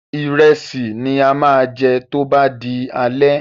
Ìrẹsì ni a máa jẹ tó bá di alẹ́.